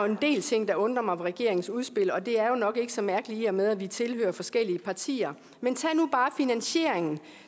en del ting der undrer mig ved regeringens udspil og det er jo nok ikke så mærkeligt i og med at vi tilhører forskellige partier men tag nu bare finansieringen